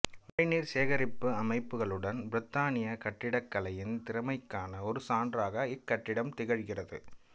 மழைநீர் சேகரிப்பு அமைப்புகளுடன் பிரித்தானிய கட்டிடக்கலையின் திறமைக்கான ஒரு சான்றாக இக்கட்டிடம் திகழ்கிறது